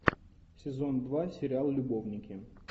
сезон два сериал любовники